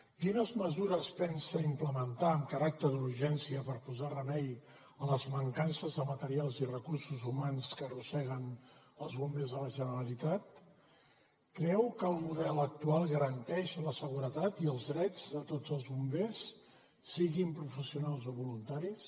quines mesures pensa implementar amb caràcter d’urgència per posar remei a les mancances de materials i recursos humans que arrosseguen els bombers de la generalitat creu que el model actual garanteix la seguretat i els drets de tots els bombers siguin professionals o voluntaris